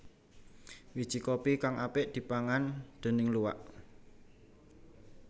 Wiji kopi kang apik dipangan déning luwak